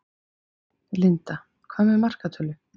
Linda: Með hvaða markatölu?